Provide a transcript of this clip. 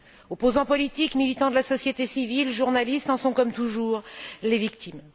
Opposants politiques, militants de la société civile, journalistes en sont comme toujours les victimes.